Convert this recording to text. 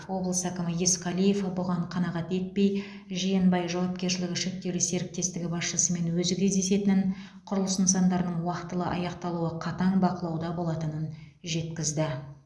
облыс әкімі есқалиев бұған қанағат етпей жиенбай жауапкершілігі шектеулі серіктестігі басшысымен өзі кездесетінін құрылыс нысандарының уақтылы аяқталуы қатаң бақылауда болатынын жеткізді